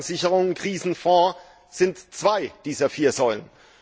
Einlagensicherung und Krisenfonds sind zwei dieser vier Säulen.